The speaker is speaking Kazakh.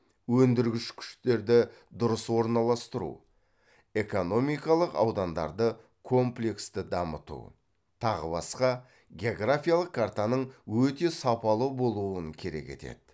өндіргіш күштерді дұрыс орналастыру экономикалық аудандарды комплексті дамыту тағы басқа географиялық картаның өте сапалы болуын керек етеді